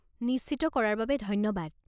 নিশ্চিত কৰাৰ বাবে ধন্যবাদ।